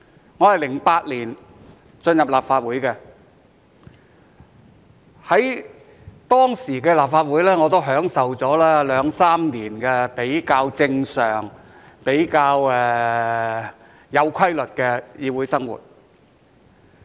我於2008年進入立法會，在當時的立法會，我也享受了兩三年比較正常、比較有規律的議會生活。